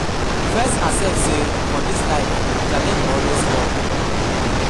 First accept say for dis life challenge go always com